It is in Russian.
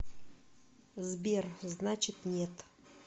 сбер значит нет